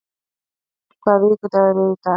Iðunn, hvaða vikudagur er í dag?